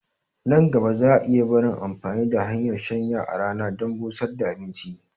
Nan gaba za a iya barin amfani da hanyar shanya a rana dan busar da abinci